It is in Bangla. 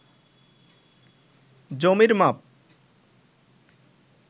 জমির মাপ